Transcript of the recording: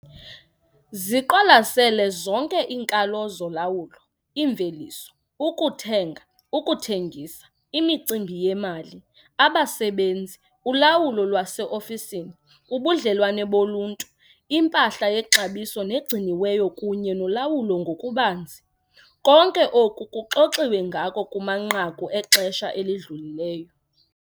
Ziqwalasele zonke iinkalo zolawulo -imveliso, ukuthenga, ukuthengisa, imicimbi yemali, abasebenzi, ulawulo lwaseofisini, ubudlelwane boluntu, impahla yexabiso negciniweyo kunye nolawulo ngokubanzi. Konke oku kuxoxiwe ngako kumanqaku exesha elidlulileyo.